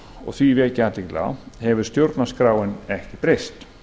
og á í vek ég athygli á hefur stjórnarskráin ekki breyst